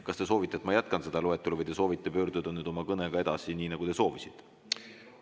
Kas te soovite, et ma jätkan seda loetelu või te soovite minna oma kõnega edasi, nii nagu soovisite?